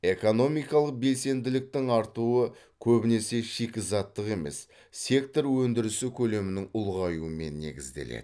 экономикалық белсенділіктің артуы көбінесе шикізаттық емес сектор өндірісі көлемінің ұлғаюымен негізделеді